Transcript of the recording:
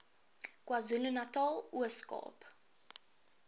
kwazulunatal ooskaap